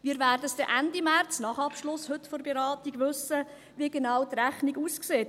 Wir werden es dann Ende März, nach Abschluss der heutigen Beratung, wissen, wie die Rechnung genau aussieht.